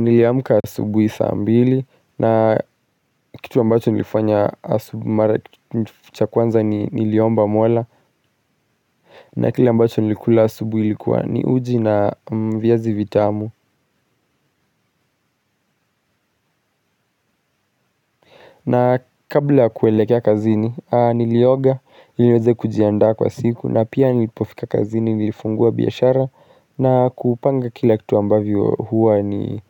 Niliamka asubuhi saa mbili na kitu ambacho nilifanya asubu mara cha kwanza niliomba mola na kila ambacho nilikula asubuhi ilikuwa ni uji na viazi vitamu. Na kabla kuelekea kazini nilioga ili niweze kujianda kwa siku na pia nilipofika kazini nilifungua biashara na kupanga kila kitu ambavyo huwa ni